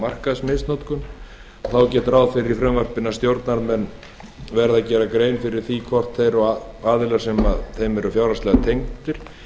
markaðsmisnotkun þá er gert ráð fyrir því í frumvarpinu að stjórnarmenn verði að gera grein fyrir því hvort þeir og aðilar þeim fjárhagslega tengdir